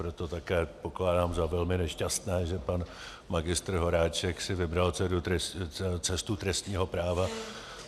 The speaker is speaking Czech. Proto také pokládám za velmi nešťastné, že pan magistr Horáček si vybral cestu trestního práva.